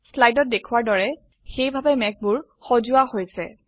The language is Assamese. স্লাইডত দেখোৱাৰ দৰে সেইভাবে মেঘবোৰ সজোৱা হৈছে